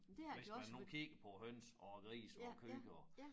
Hvis man nu kigger på høns og grise og køer